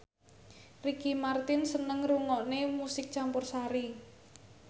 Ricky Martin seneng ngrungokne musik campursari